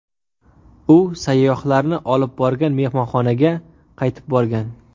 U sayyohlarni olib borgan mehmonxonaga qaytib borgan.